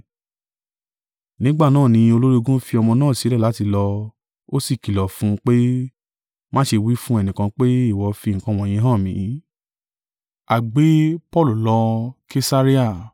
Nígbà náà ni olórí ogun fi ọmọ náà sílẹ̀ láti lọ, ó sí kìlọ̀ fún un pé, “Má ṣe wí fún ẹnìkan pé, ìwọ fi nǹkan wọ̀nyí hàn mi.”